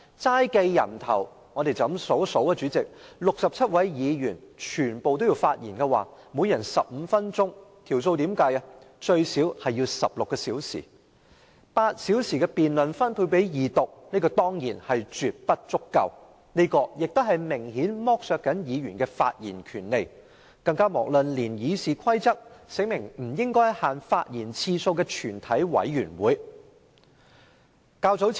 單計人數，若67位議員全部發言，每人15分鐘，最少也需要16小時，現時只分配8小時進行二讀辯論，絕不足夠，亦明顯剝削了議員的發言權利，更遑論《議事規則》訂明議員在全體委員會中不限發言次數了。